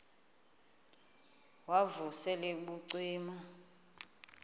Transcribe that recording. wav usel ubucima